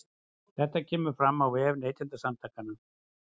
Þetta kemur fram á vef Neytendasamtakanna